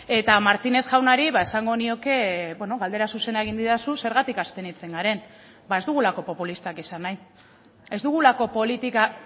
eta martínez jaunari ba esango nioke beno galdera zuzena egin didazu zergatik abstenitzen garen ba ez dugulako populistak izan nahi ez dugulako politika